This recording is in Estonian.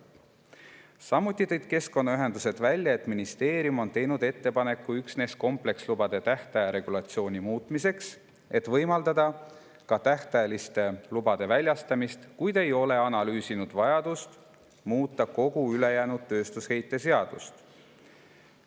" Samuti tõid keskkonnaühendused välja, et ministeerium on teinud ettepaneku üksnes komplekslubade tähtaja regulatsiooni muutmiseks, et võimaldada ka tähtajaliste lubade väljastamist, kuid ei ole analüüsinud vajadust muuta kogu ülejäänud tööstusheite seadust.